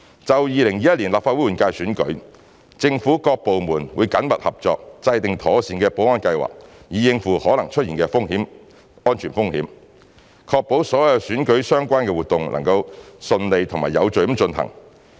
就2021年立法會換屆選舉，政府各部門會緊密合作，制訂妥善保安計劃，以應付可能出現的安全風險，確保所有與選舉相關的活動能夠順利及有序地進行。